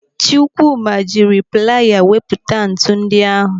Chukwuma jiri playa wepụta ntụ ndị ahụ.